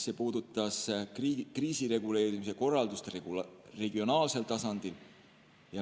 See puudutas kriisireguleerimise korraldust regionaalsel tasandil.